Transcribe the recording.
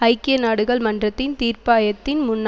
ஐக்கிய நாடுகள் மன்றத்தின் தீர்ப்பாயத்தின் முன்